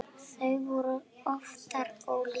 Þau voru afar ólík.